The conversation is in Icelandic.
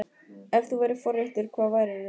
Ef þú værir forréttur, hvað værir þú?